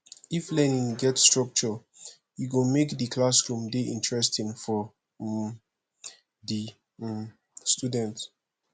if learning get structure e go make di classroom dey interesting for um di um student